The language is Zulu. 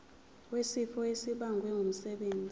wesifo esibagwe ngumsebenzi